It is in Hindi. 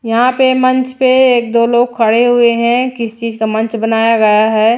यहां पे मंच पे एक दो लोग खड़े हुए हैं किस चीज का मंच बनाया गया है।